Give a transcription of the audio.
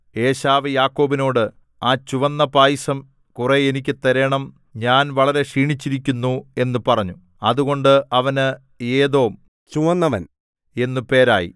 ഏശാവ് യാക്കോബിനോട് ആ ചുവന്ന പായസം കുറെ എനിക്ക് തരേണം ഞാൻ വളരെ ക്ഷീണിച്ചിരിക്കുന്നു എന്നു പറഞ്ഞു അതുകൊണ്ട് അവന് ഏദോം ചുവന്നവൻ എന്നു പേരായി